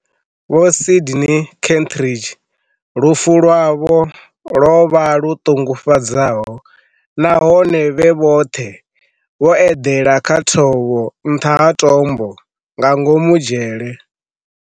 Vho Sydney Kentridge, lufu lwavho lwo vha lu ṱungufhadzaho nahone vhe vhoṱhe vho eḓela kha thovho nṱha ha tombo nga ngomu dzhele.